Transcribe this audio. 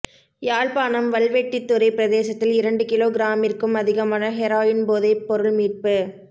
யாழ்ப்பாணம் வல்வெட்டித்துறைப் பிரதேசத்தில் இரண்டு கிலோ கிராமிற்கும் அதிகமான ஹெரோயின் போதைப் பொருள் மீட்பு